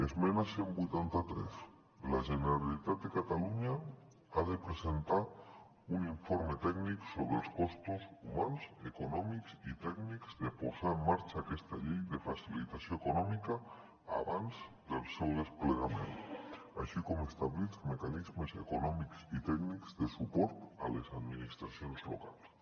esmena cent i vuitanta tres la generalitat de catalunya ha de presentar un informe tècnic sobre els costos humans econòmics i tècnics de posar en marxa aquesta llei de facilitació econòmica abans del seu desplegament així com establir els mecanismes econòmics i tècnics de suport a les administracions locals